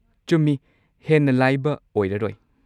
ꯆꯨꯝꯃꯤ! ꯍꯦꯟꯅ ꯂꯥꯏꯕ ꯑꯣꯏꯔꯔꯣꯏ꯫